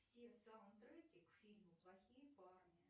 все саундтреки к фильму плохие парни